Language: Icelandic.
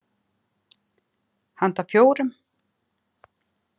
Handa fjórum